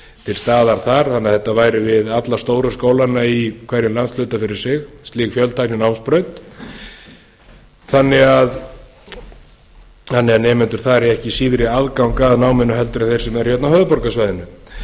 til staðar þar þannig að þetta væri við alla stóru skólana í hverjum landshluta fyrir sig slík fjöltækninámsbraut þannig að nemendur þar eigi ekki síðri aðgang að náminu en þeir sem eru hérna á höfuðborgarsvæðinu þetta